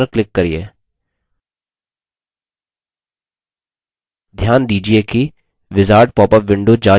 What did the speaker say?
ध्यान दीजिये कि wizard पॉपअप window जा चुकी है और हम form डिज़ाइन window को देख रहे हैं